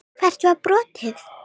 Hvert var brotið?